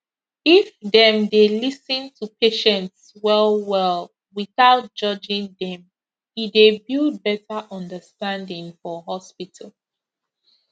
if dem dey lis ten to patients well well without judging them e dey build better understanding for hospital